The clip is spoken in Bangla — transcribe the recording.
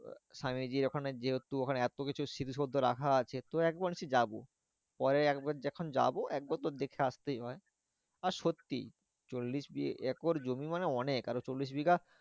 স্বামীজীর ওখানে যেহেতু ওখানে এতকিছু স্মৃতিসৌধ রাখা আছে তো একবার নিশ্চই যাবো। পরে একবার যখন যাবো একবার তো দেখে আসতেই হয়। আর সত্যি চল্লিশ একর জমি মানে অনেক। আর চল্লিশ বিঘা